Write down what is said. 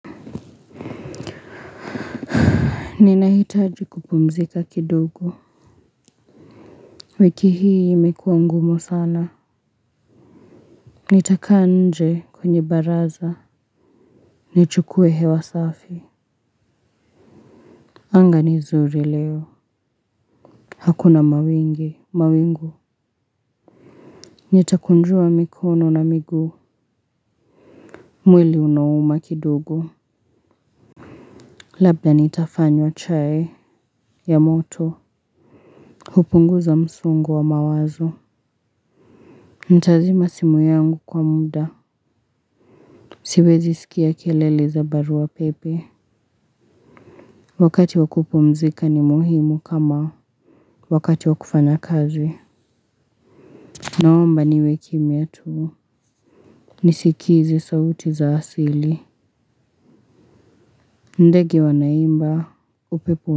Ninahitaji kupumzika kidogo. Wiki hii imekuwa ngumu sana. Nitakaa nje kwenye baraza. Nichukue hewa safi. Anga ni zuri leo, hakuna mawingi, mawingu. Nitakunjua mikono na miguu. Mwili unauma kidogo, labda nitafanywa chai ya moto. Hupunguza msongo wa mawazo. Nitazima simu yangu kwa muda. Siwezi sikia kelele za barua pepe. Wakati wa kupumzika ni muhimu kama wakati wa kufanya kazi. Naomba niwe kimya tu. Nisikize sauti za asili. Ndegi wanaimba, upepo.